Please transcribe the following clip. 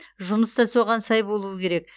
жұмыс та соған сай болуы керек